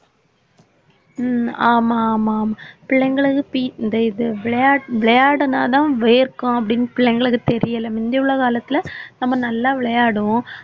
உம் ஆமா ஆமா ஆமா பிள்ளைங்களுக்கு P~ இந்த இது விளையாட்~ விளையாடுனாதான் வேர்க்கும் அப்படீன்னு பிள்ளைங்களுக்கு தெரியல முந்தி உள்ள காலத்துல நம்ம நல்லா விளையாடுவோம்.